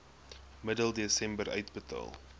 middel desember uitbetaal